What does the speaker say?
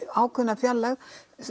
ákveðna fjarlægð